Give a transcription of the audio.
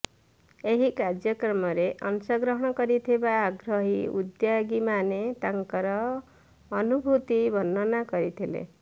ଏହି କାର୍ଯ୍ୟକ୍ରମରେ ଅଂଶଗ୍ରହଣ କରିଥିବା ଆଗ୍ରହୀ ଉଦ୍ୟୋଗୀମାନେ ତାଙ୍କର ଅନୁଭୂତି ବର୍ଣ୍ଣନା କରିଥିଲେ